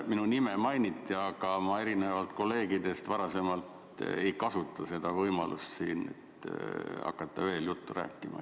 Minu nime mainiti, aga erinevalt kolleegidest ei kasuta ma seda võimalust, et hakata veel juttu rääkima.